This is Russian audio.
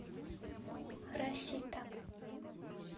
расита